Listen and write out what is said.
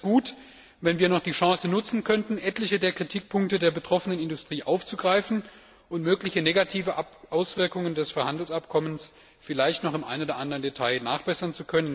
Ich fände es gut, wenn wir noch die Chance nützen könnten, etliche der Kritikpunkte der betroffenen Industrie aufzugreifen und mögliche negative Auswirkungen des Freihandelsabkommens vielleicht noch im einen oder anderen Detail nachzubessern.